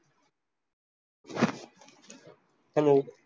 Hello